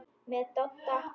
Með Dodda?